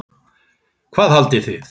Hvað haldið þið!